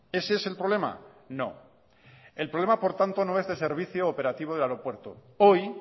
ese es el problema no el problema por tanto no es de servicio operativo del aeropuerto hoy